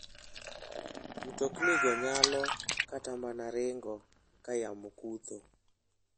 Mtoknigo nyalo kata mana ringo ka yamo kutho.